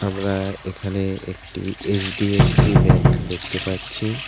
আমরা এখানে একটি এইচ_ডি_এফ_সি ব্যাঙ্ক দেখতে পাচ্ছি।